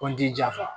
Kɔnti ja